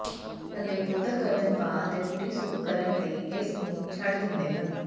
ਥੱਲੇ ਬੋਤਲ ਗਰਦਨ ਪਾ ਅਤੇ ਪੂਰੀ ਸੁੱਕ ਕਰਨ ਲਈ ਇਸ ਨੂੰ ਛੱਡ ਦਿੰਦੇ ਹਨ